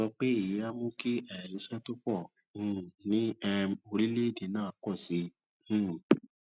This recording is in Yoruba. pé èyí á mú kí àìríṣẹ tó pò um ní um orílèèdè náà pọ̀ sí i um